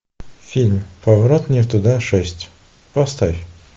фильм поворот не туда шесть поставь